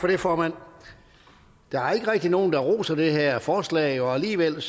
for det formand der er ikke rigtig nogen der roser det her forslag og alligevel